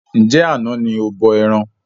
Njẹ àna ní o bọ ẹran?